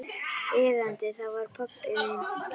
Iðandi, það var pabbi minn.